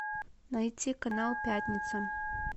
найти канал пятница